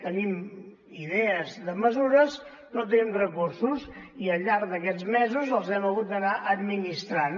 tenim idees de mesures no tenim recursos i al llarg d’aquests mesos els hem hagut d’anar administrant